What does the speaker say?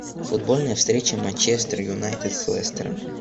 футбольная встреча манчестер юнайтед с лестером